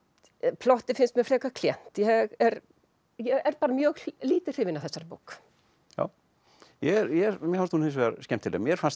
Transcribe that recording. plottið finnst mér frekar klént ég er er mjög lítið hrifin af þessari bók mér fannst hún hins vegar skemmtileg mér fannst